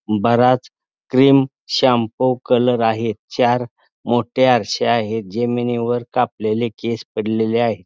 बराच cream shampoo colour आहे चार मोठे आरसे आहेत जमिनीवर कापलेले केस पडलेले आहे.